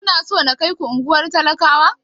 Kuna so na kaiku unguwar talakawa?